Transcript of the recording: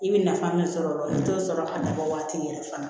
I bɛ nafa min sɔrɔ o la i bɛ t'o sɔrɔ a laban